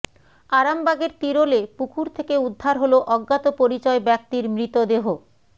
আরামবাগের তিরোলে পুকুর থেকে উদ্ধার হলো অজ্ঞাত পরিচয় ব্যক্তির মৃতদেহ